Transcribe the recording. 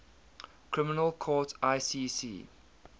criminal court icc